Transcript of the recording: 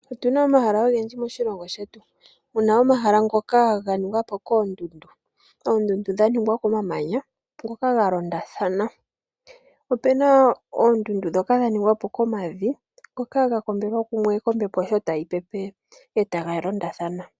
Otu na omahala ogendji moshilongo shetu, muna omahala ngoka ga ningwa po koondundu. Oondundu dha ningwa komamanya ngoka ga londathana. Ope na oondundu dhoka dha ningwa po komavi ngoka ga kombelwa kukwe kombepo sho tayi pepe, e taga londathana.